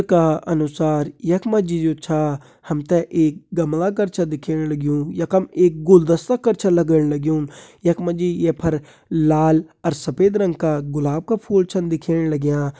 का अनुसार यखमा जी जो छा हमते एक गमला कर छा दिख्येण लगयूं यखम एक गुलदस्ता कर छा लगण लगयूं यखमा जी ये फर लाल और सफ़ेद रंग का गुलाब का फूल छन दिख्येण लाग्यां।